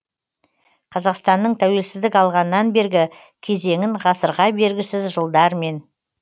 қазақстанның тәуелсіздік алғаннан бергі кезеңін ғасырға бергісіз жылдармен